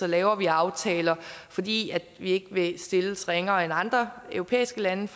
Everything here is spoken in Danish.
laver vi aftaler fordi vi ikke vil stilles ringere end andre europæiske lande